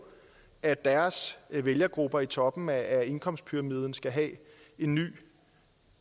at deres vælgergrupper i toppen af indkomstpyramiden skal have en ny